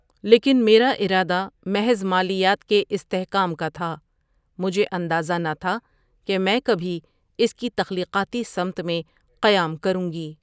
لیکن میرا ارادہ محض مالیات کے استحکام کا تھا مُجھے اندازہ نہ تھا کہ میں کبھی اس کی تخلیقاتی سمت میں قیام کرُوں گی ۔